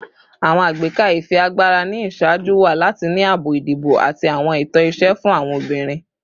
Awọn agbeka ifiagbara ni iṣaaju wa lati ni aabo idibo ati awọn ẹtọ iṣẹ fun awọn obinrin